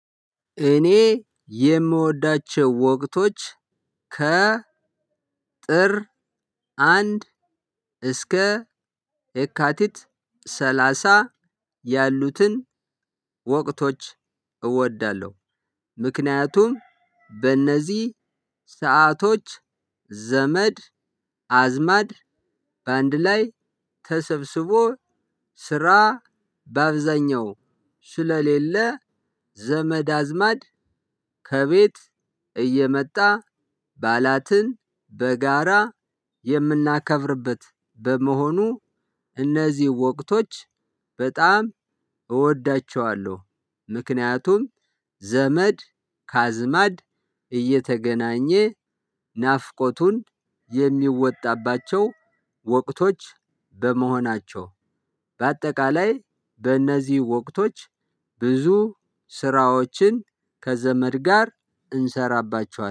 እኔ የምወዳቸው ወቅቶች ከ ጥር አንድ እስከ የካቲት ሰላሳ ያሉትን ወቅቶች እወዳለሁ። ምክንያቱም በእነዚህ ሰአቶች ዘመድ አዝማድ በአንድ ላይ ተሰብስቦ ስራ በአብዛኛው ስለሌለ ዘመድ አዝማድ ከቤት እየመጣ በዓላትን በጋራ የምናከብርበት በመሆኑ እነዚህ ወቅቶች በጣም እወዳቸዋለሁ። ምክንያቱም ዘመድ ካዝማድ እየተገናኘ ናፍቆቱን የሚወጣባቸው ወቅቶች በመሆናቸው። በአጠቃላይ በእነዚህ ወቅቶች ብዙ ስራዎችን ከዘመድ ጋር እንሰራባቸዋለን